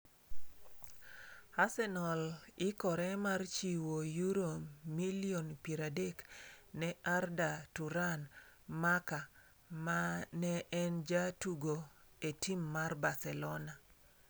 Arsenal ikore mar chiwo euro milion 30 ne Arda Turan (Marca) ma ne en ja tugo e tim mar Barcelona.